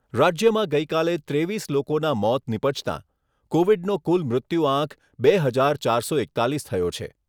રાજ્યમાં ગઈકાલે ત્રેવીસ લોકોના મોત નીપજતા, કોવિડનો કુલ મૃત્યુઆંક બે હજાર ચારસો એકતાલીસ થયો છે.